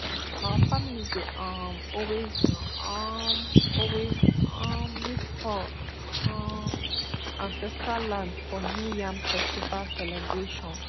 our family dey um always um always um meet for um ancestral land for new yam festival celebration